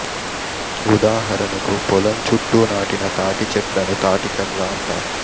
ఉదాహరణకు పొలం చుట్టూ నాటిన తాటి చెట్లను తాటికర్ర అంటారు